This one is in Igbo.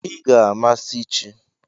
Ị ga-amasị chi!